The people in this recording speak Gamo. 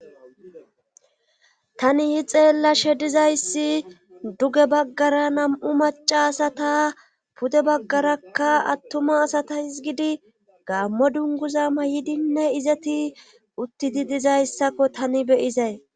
Tani hi xeellashe dizayssi duge baggara nam'u maca asata pude baggarakka attuma asata hizgidi gaammo dunguza may7idinne izati utti di dizayssakko tani beyizay.